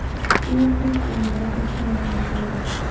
Keyin qulf o‘rnida boshqa narsani ko‘rdim.